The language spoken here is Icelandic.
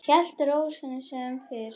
Hélt ró sinni sem fyrr.